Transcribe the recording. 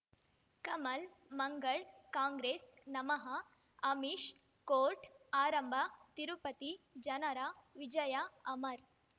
ಕಮಲ್ ಮಂಗಳ್ ಕಾಂಗ್ರೆಸ್ ನಮಃ ಅಮಿಷ್ ಕೋರ್ಟ್ ಆರಂಭ ತಿರುಪತಿ ಜನರ ವಿಜಯ ಅಮರ್